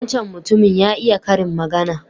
Wancan mutumin ya iya karin magana.